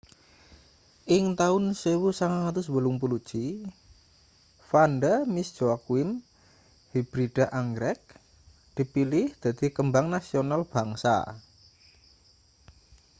ing taun 1981 vanda miss joaquim hibrida anggrek dipilih dadi kembang nasional bangsa